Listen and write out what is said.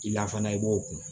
I lakana i b'o kun